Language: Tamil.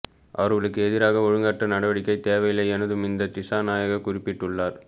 அவர்களுக்கு எதிராக ஒழுக்காற்று நடவடிக்கை தேவையில்லை என துமிந்த திஸாநாயக்க குறிப்பிட்டுள்ளார்